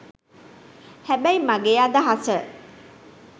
හැබැයි මගේ අදහස